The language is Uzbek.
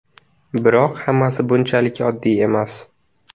Biroq hammasi bunchalik oddiy emas.